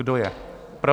Kdo je pro?